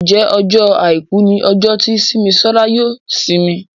Njé Ọjọ́ aìkú ní ojo tí Simisola yóò isimi?